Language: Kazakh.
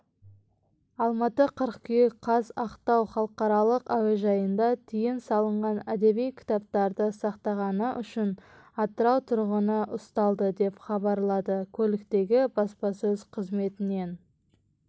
алматы қыркүйек қаз ақтау халықаралық әуежайында тыйым салынған әдеби кітаптарды сақтағаны үшін атырау тұрғыны ұсталды деп хабарлады көліктегі баспасөз қызметінен